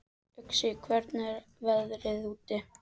Uxi, hvernig er veðrið úti?